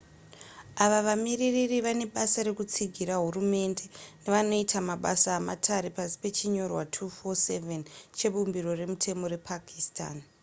ava vamiririri vane basa rekutsigira hurumende nevanoita mabasa ematare pasi pechinyorwa 247 chebumbiro remutemo repakistan